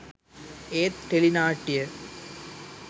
ඒත් ටෙලි නාට්‍ය